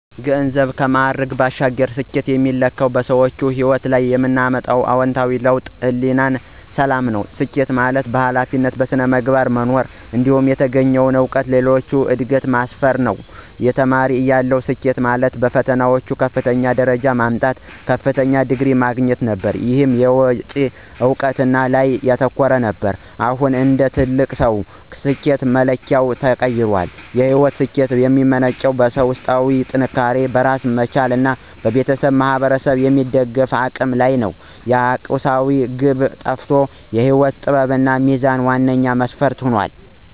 ከገንዘብና ከማዕረግ ባሻገር፣ ስኬትን የሚለካው በሰዎች ሕይወት ላይ የምናመጣው አዎንታዊ ለውጥና የሕሊና ሰላም ነው። ስኬት ማለት በኃላፊነትና በሥነ ምግባር መኖር፣ እንዲሁም የተገኘውን እውቀት ለሌሎች ዕድገት ማስፈን ነው። ተማሪ እያለሁ፣ ስኬት ማለት በፈተናዎች ከፍተኛውን ደረጃ ማምጣት እና ከፍተኛውን ዲግሪ ማግኘት ነበር። ይህ የውጭ እውቅና ላይ ያተኮረ ነበር። አሁን እንደ ትልቅ ሰው፣ ስኬት መለኪያዬ ተቀይሯል። የሕይወት ስኬት የሚመነጨው በውስጣዊ ጥንካሬ፣ በራስ መቻልና ቤተሰብንና ማኅበረሰብን የመደገፍ አቅም ላይ ነው። የቁሳዊነት ግብ ጠፍቶ የሕይወት ጥበብና ሚዛን ዋነኛ መስፈርት ሆነዋል።